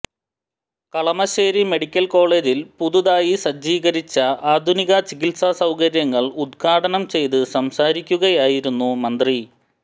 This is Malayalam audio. കളമശ്ശേരി മെഡിക്കൽ കോളേജിൽ പുതുതായി സജ്ജീകരിച്ച ആധുനിക ചികിത്സാ സൌകര്യങ്ങൾ ഉദ്ഘാടനം ചെയ്ത് സംസാരിക്കുകയായിരുന്നു മന്ത്രി